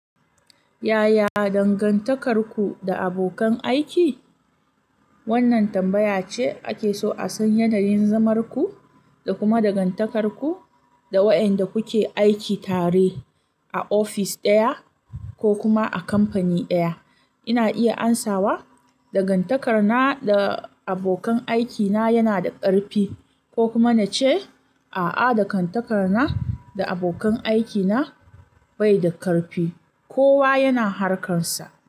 Yaya dangantakarku da abokan aiki? Wannan tambaya ce ake so a san yanayin zamarku da kuma dangantakarku da wayanda kuke aiki tare a ofis ɗaya ko kuma a kamfani ɗaya. Ina iya amsawa dangantakar na da abokan aikina yana da ƙarfi ko kuma na ce a'a dangantakar na da abokan aikina bai da ƙarfi. Kowa yana harkarsa.